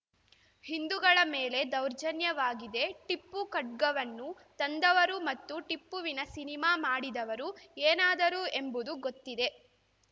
ಹಿಂದೂಗಳ ಮೇಲೆ ದೌರ್ಜನ್ಯವಾಗಿದೆ ಟಿಪ್ಪು ಖಡ್ಗವನ್ನು ತಂದವರು ಮತ್ತು ಟಿಪ್ಪುವಿನ ಸಿನಿಮಾ ಮಾಡಿದವರು ಏನಾದರು ಎಂಬುದು ಗೊತ್ತಿದೆ